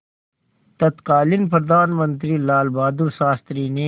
तत्कालीन प्रधानमंत्री लालबहादुर शास्त्री ने